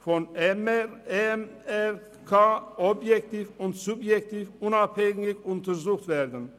EMRK objektiv und subjektiv unabhängig untersucht werden.